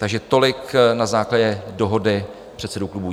Takže tolik na základě dohody předsedů klubů.